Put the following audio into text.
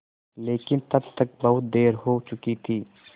लेकिन तब तक बहुत देर हो चुकी थी